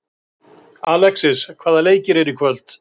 Alexis, hvaða leikir eru í kvöld?